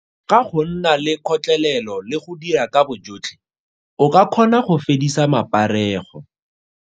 Ka go nna le kgotlelelo le go dira ka bojotlhe, o ka kgona go fedisa maparego.